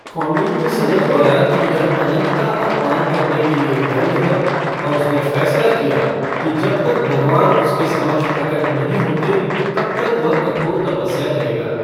कौंडिन्य समझ गया कि यह अनंत का अपमान करने के लिए दंड है और उसने फैसला किया कि जब तक भगवान उसके समक्ष प्रकट नहीं होते, तब तक वह कठोर तपस्या करेगा।